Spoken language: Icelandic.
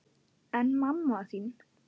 En mamma þín?